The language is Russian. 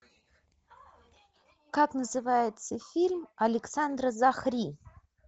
как называется фильм александра захри